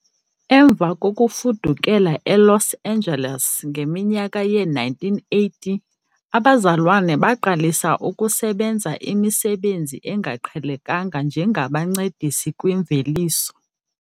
Emva kokufudukela eLos Angeles ngeminyaka yee-1980, abazalwana baqalisa ukusebenza imisebenzi engaqhelekanga njengabancedisi kwimveliso.